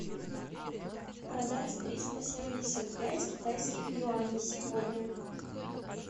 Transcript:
продать триста семьдесят пять китайских юаней сегодня